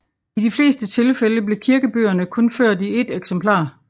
I de fleste tilfælde blev kirkebøgerne kun ført i et eksemplar